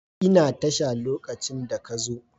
Ina tasha lokacin da ka zo.